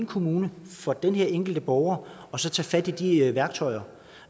kommune for den enkelte borger og så tage fat i de værktøjer